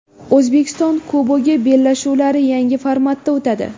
O‘zbekiston Kubogi bellashuvlari yangi formatda o‘tadi.